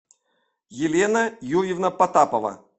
елена юрьевна потапова